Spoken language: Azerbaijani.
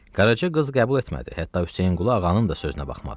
Qaraca qız qəbul etmədi, hətta Hüseynqulu Ağanın da sözünə baxmadı.